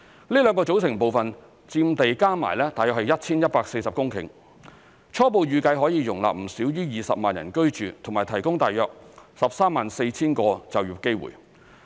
這兩個組成部分佔地加起來約 1,140 公頃，初步預計可容納不少於20萬人居住及提供約 134,000 個就業機會。